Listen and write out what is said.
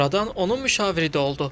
Sonradan onun müşaviri də oldu.